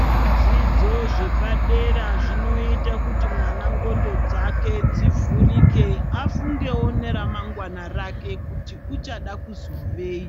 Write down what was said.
Zvidzidzo zvepa dera zvinoita kuti mwana nqxondo dzake dzivhurike, afungewo nera mangwana rake kuti uchada kuzovei.